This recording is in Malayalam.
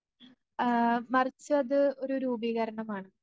ആ മറിച്ചത് ഒരു രൂപീകരണമാണ്.